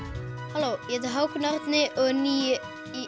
halló ég heiti Hákon Árni og er níu